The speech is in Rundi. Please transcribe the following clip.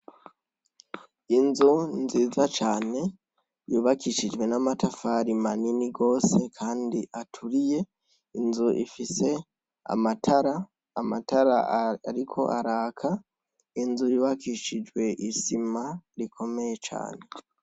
Inzu nziza cane yubakishijwe n'amatafari manini gose, kandi aturiye inzu ifise amatara amatara, ariko araka inzu yiubakishijwe isima rikomeye cane.